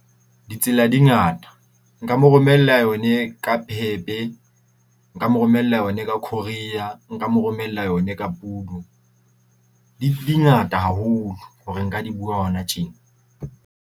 Ditsela di ngata, nka mo romella yone ka PEP-e, nka mo romella yona ka courier. Nka mo romella yone ka Pudo. Di di ngata haholo hore nka di bua hona tje.